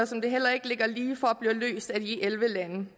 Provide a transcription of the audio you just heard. som det heller ikke ligger lige for bliver løst af de elleve lande